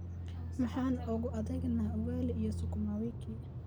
Maxaan ugu adeegnaa ugali iyo sukuma wiki?